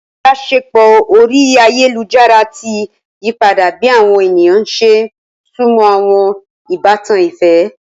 Ibaṣepọ orí ayélujára ti yípadà bi awọn ènìyàn ṣe sunmọ awọn ìbátan ìfẹ.